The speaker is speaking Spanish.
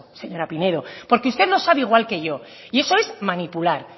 señora pinedo porque usted lo sabe igual que yo y eso es manipular